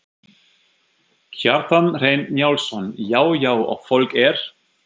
Kjartan Hreinn Njálsson: Já já og fólk er?